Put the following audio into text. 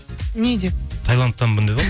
не деп тайландтанмын деді ғой